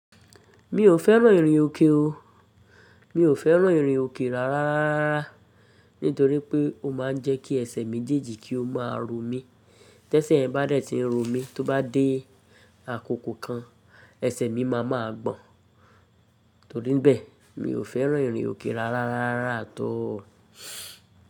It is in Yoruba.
Mi ò fẹ́ràn ìrìn òkè o. Mi ò fẹ́ràn ìrìn òkè rárá rárá, nítorí pé ó má a ń jẹ́kí ẹsẹ̀ mèjeji kí ó máa ro mí. Tẹ́sẹ̀ ẹ bá dẹ̀ ti ń ro mí, tó bá dé àkókò kan, ẹsẹ̀ mi má a máa gbọ̀n. Torí bẹ́ẹ̀, mi ò fẹ́ràn ìrìn òkè rárá rárá at all.